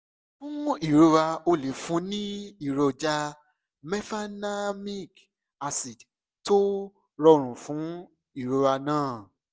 fún ìrora o lè fún un ní èròjà mefenamic acid tó rọrùn fún ìrora náà